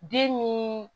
Den ni